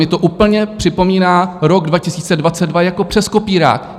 Mně to úplně připomíná rok 2022, jako přes kopírák.